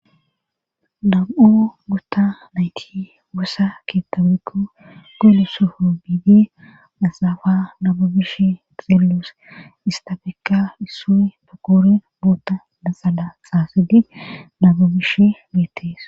nam7o gotta nayti wossa keettawetu goelu sofu biidi asaafa nabu bish xeellos istafeka issu pakoori bootta laxala xaasadi nabu bish beettees